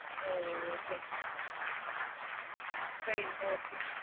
ooh train okay